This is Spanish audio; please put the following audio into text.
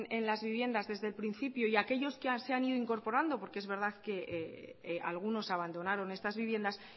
en las viviendas desde el principio y aquellos que se han ido incorporando porque es verdad que algunos abandonaron estas viviendas